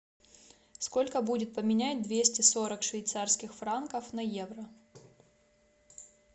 сколько будет поменять двести сорок швейцарских франков на евро